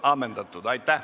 Istungi lõpp kell 10.39.